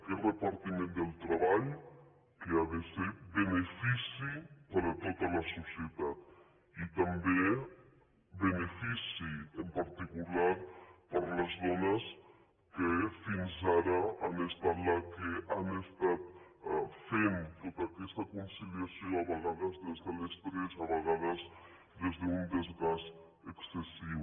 aquest repartiment del treball que ha de ser benefici per a tota la societat i també benefici en particular per a les dones que fins ara han estat les que han estat fent tota aquesta conciliació a vegades des de l’estrès a vegades des d’un desgast excessiu